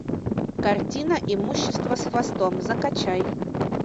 картина имущество с хвостом закачай